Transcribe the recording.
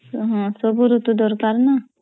ହଁ ସବୁ ରୁତୁ ଦରକାର୍ ନା